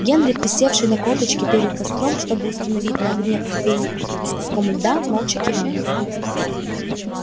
генри присевший на корточки перед костром чтобы установить на огне кофейник с куском льда молча кивнул